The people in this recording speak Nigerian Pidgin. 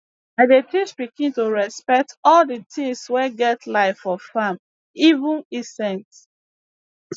i dey teach pikin to respect all d tings wey get life for farm even insects